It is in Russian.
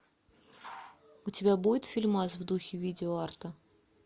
у тебя будет фильмас в духе видео арта